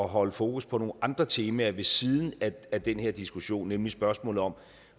holde fokus på nogle andre temaer ved siden af den her diskussion nemlig spørgsmålet om